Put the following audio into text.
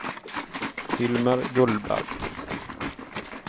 Hilmer Gullberg